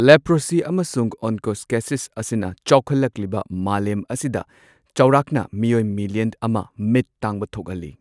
Leprosy ꯑꯃꯁꯨꯡ onchocerciasis ꯑꯁꯤꯅ ꯆꯥꯎꯈꯠꯂꯛꯂꯤꯕ ꯃꯥꯂꯦꯝ ꯑꯁꯤꯗ ꯆꯥꯎꯔꯥꯛꯅ ꯃꯤꯑꯣꯏ ꯃꯤꯂꯤꯌꯟ ꯑꯃ ꯃꯤꯠ ꯇꯥꯡꯕ ꯊꯣꯛꯍꯜꯂꯤ꯫